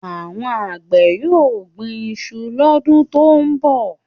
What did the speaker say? Àwọn àgbẹ̀ yóò gbin iṣu lọ́dún tó ń bọ̀